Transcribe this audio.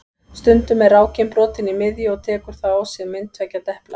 Stundum er rákin brotin í miðju og tekur þá á sig mynd tveggja depla.